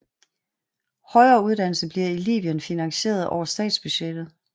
Højere uddannelse bliver i Libyen finansieret over statsbudgettet